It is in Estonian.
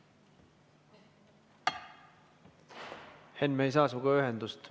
Henn, me ei saa sinuga ühendust.